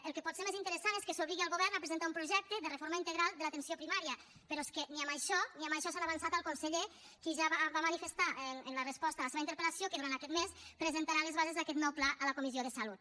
el que pot ser més interessant és que s’obligui el govern a presentar un projecte de reforma integral de l’atenció primària però és que ni amb això ni amb això s’han avançat al conseller qui ja va manifestar en la resposta a la seva interpel·lació que durant aquest mes presentarà les bases d’aquest nou pla a la comissió de salut